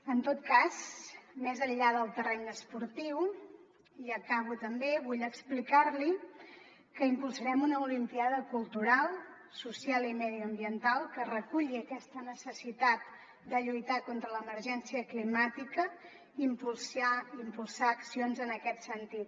en tot cas més enllà del terreny esportiu i acabo també vull explicar li que impulsarem una olimpíada cultural social i mediambiental que reculli aquesta necessitat de lluitar contra l’emergència climàtica impulsar accions en aquest sentit